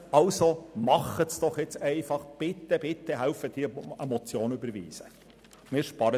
Also unterstützen Sie die Umsetzung, und helfen Sie mit, die Motion zu überweisen.